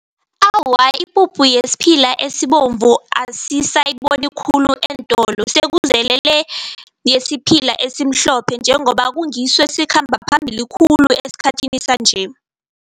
Awa, ipuphu yesiphila esibovu asisayiboni khulu eentolo, sekuzele le yesiphila esimhlophe njengoba kungiso esikhamba phambili khulu esikhathini sanje.